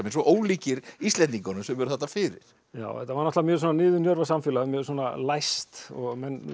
svo ólíkir Íslendingunum sem eru þarna fyrir þetta var náttúrulega mjög niðurnjörvað samfélag mjög læst og